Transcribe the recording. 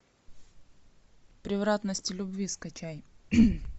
превратности любви скачай